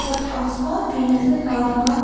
और आसमान भी नजर आ रहा--